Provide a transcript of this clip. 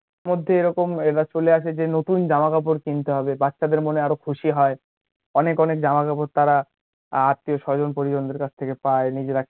মধ্যে এরকম এটা চলে আসে যে নতুন জামা কাপড় কিনতে হবে বাচ্চাদের মনে আরো খুশি হয় অনেক অনেক জামা কাপড় তারা আত্মীয় স্বজন পরিজনদের কাছ থেকে পায় নিজেরা